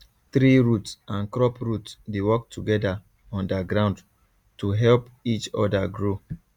tree root and crop root dey work together under ground to help each other grow